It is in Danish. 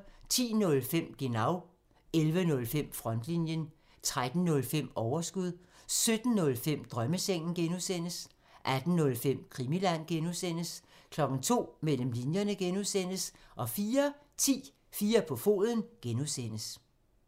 10:05: Genau (tir) 11:05: Frontlinjen (tir) 13:05: Overskud (tir) 17:05: Drømmesengen (G) (tir) 18:05: Krimiland (G) (tir) 02:00: Mellem linjerne (G) (tir) 04:10: 4 på foden (G) (tir)